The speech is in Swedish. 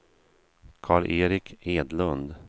Karl-Erik Edlund